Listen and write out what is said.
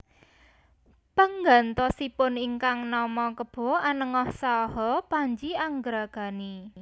Penggantosipun ingkang nama Kebo Anengah saha Panji Angragani